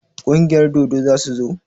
Kungiyar dodo za su zo?